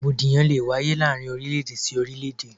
Rògbòdìyàn lé e wáyé láàárín orílẹ̀-èdè sí orílẹ̀-èdè.